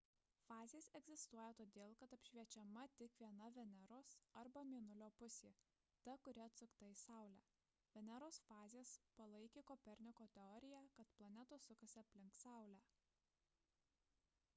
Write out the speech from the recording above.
fazės egzistuoja todėl kad apšviečiama tik viena veneros arba mėnulio pusė – ta kuri atsukta į saulę. veneros fazės palaikė koperniko teoriją kad planetos sukasi aplink saulę